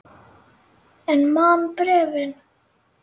En man bréfin.